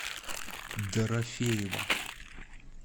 дорофеева